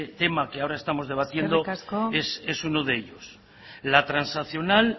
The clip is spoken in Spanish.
tema que ahora estamos debatiendo eskerrik asko es uno de ellos la trasnacional